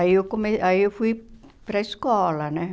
Aí eu come aí eu fui para escola, né?